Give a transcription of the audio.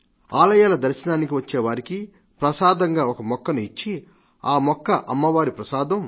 ఆలయాల దర్శనానికి వచ్చేవారికి ప్రసాదంగా ఒక మొక్కను ఇచ్చి ఈ మొక్క అమ్మవారి ప్రసాదం